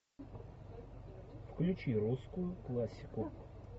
включи русскую классику